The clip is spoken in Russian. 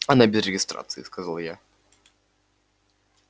она без регистрации сказал я